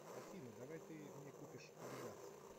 афина давай ты мне купишь адидас